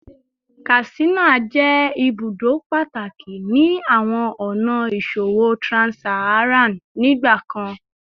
Katsina jẹ ibudo pataki ni awọn ọna iṣowo trans-Saharan nigbakan